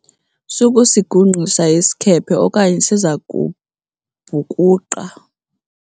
sukusigungqisa isikhephe okanye siza kubhukuqa!